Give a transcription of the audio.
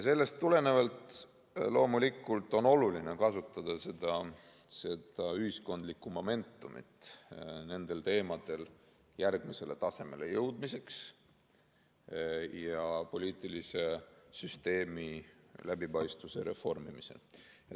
Sellest tulenevalt on loomulikult oluline kasutada seda ühiskondlikku momentumit nendel teemadel järgmisele tasemele jõudmiseks ja poliitilise süsteemi läbipaistvuse reformimiseks.